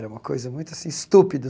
Era uma coisa muito assim estúpido.